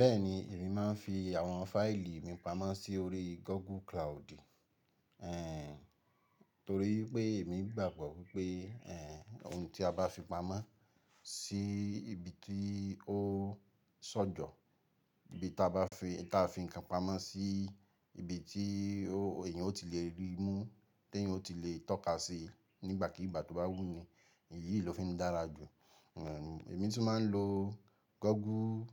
Bẹ́ẹ̀ni, èmi máa ń fi àwọn fáìlì mi pamọ́ sí orí Google Cloud. Ẹ̀hn, torí pé èmi gbàgbọ́ wípé, ẹ̀hẹn, ohun tí a bá fi pamọ́ sí ibi tí ó sọ́jọ́, ibi tí a bá fi, tí a fi nǹkan pamọ́ sí ibi tí ó, èèyàn ó ti le ríi mú, tí èèyàn ó ti le tọ́ka sí nígbàkígbà tó bá wù u ní, èyí ló fi ń dára jù. Ẹ̀hn, èmi tún máa ń lo Google,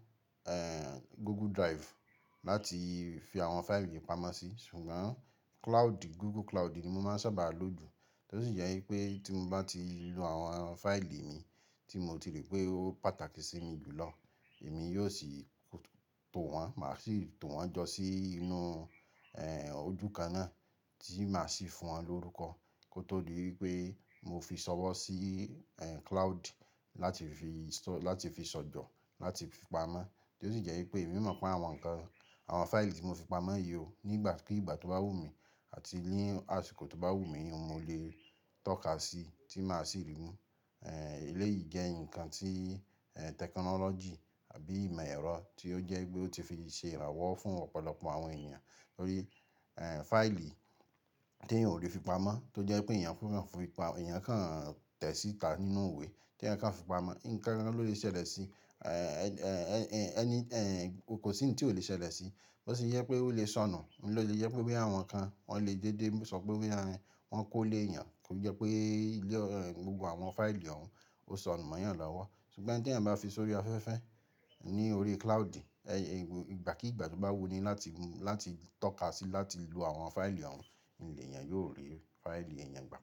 ẹ̀hẹ̀n, Google Drive láti fi àwọn fáìlì mi pamọ́ sí, ṣùgbọ́n Cloud, Google Cloud ni mo máa ń sábà lò jù. Tí ó sì jẹ́ wípé tí mo bá ti lo àwọn fáìlì mi tí mo ti rí pé ó pàtàkì sí mi jù lọ, èmi yóò sì tò wọ́n, màá sì tò wọ́n jọ sí inú, ẹ̀hn, ojú kan náà tí màá sì fún wọn lórúkọ. Kó tó di wípé mo fi sọ̀wọ́ sí, ẹ̀hn, Cloud láti fi s- láti fi sọ́jọ́, láti fi pamọ́. Tí ó sì jẹ́ wípé èmi mọ̀ pé àwọn nǹkan, àwọn fáìlì tí mo fi pamọ́ yí ò, nígbàkígbà tó bá wù mí àti ní àsìkò tó bá wù mí, mo lè tọ́ka sí, tí màá sì ríi mú. Ẹ̀hn, eléyìí jẹ́ ǹkan tí, ẹ̀hn, technology àbí ìmọ̀ ẹ̀rọ tí ó jẹ́ pé ó ti fi ṣe ìrànwọ̀ fún ọ̀pọ̀lọpọ̀ àwọn èèyàn. Torí, ẹ̀hn, fáìlì tí èèyàn ò lè fi pamọ́, tó jẹ́ pé èèyàn kò fúnyan fipa, èèyàn kan tẹ̀ síta nínú iwe tí ẹ̀ẹ̀yàn kan fi pamọ́, ǹkan kan ló lè ṣẹlẹ̀ sí, ẹ̀ẹ̀hn, any, ẹ̀hn, kò sí ohun tí ò lè ṣẹlẹ̀ sí. Bó sì jẹ́ pé ó lè sọnù. N lo le jẹ́ pé boya àwọn kan, wọn lè déédéé sọ pé wípé boya ehn, wọn kó lé èèyàn. Kò jẹ́ pé ilé, gbogbo àwọn fáìlì òun ó sọnù mọ́ èèyàn lọ́wọ́. Ṣùgbọ́n ohun tí ẹ̀ẹ̀yàn bá fi sórí afẹ́fẹ́, ní orí Cloud, ẹ̀, ìgbàkígbà tó bá wù u ní láti, láti tọ́ka sí, láti lo àwọn fáìlì òun, nle èèyàn yóò rí fáìlì èèyàn gbà.